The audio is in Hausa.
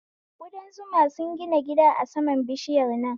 Kudan zuma sun gida gida a saman bishiyar nan